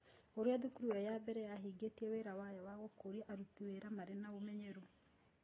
Ũrĩa thukuru ĩyo ya mbere yahingĩtie wĩra wayo wa gũkũria aruti wĩra marĩ na ũmenyeru.